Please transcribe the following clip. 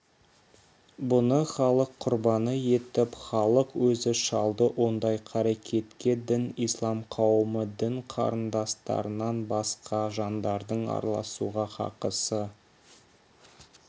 бұны халық құрбаны етіп халық өзі шалды ондай қарекетке дін ислам қауымы дін қарындастардан басқа жандардың араласуға хақысы